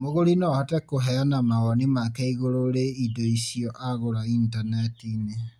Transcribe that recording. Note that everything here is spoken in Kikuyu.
Mũgũri no ahote kũheana mawoni make igũrũ rĩ indo icio agũra intaneti-inĩ